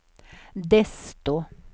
desto